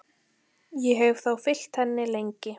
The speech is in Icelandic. Ég hef þá fylgt henni lengi.